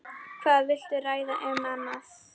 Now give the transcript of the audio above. Hvað viltu ræða um annað?